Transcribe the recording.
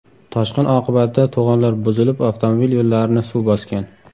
Toshqin oqibatida to‘g‘onlar buzilib, avtomobil yo‘llarini suv bosgan.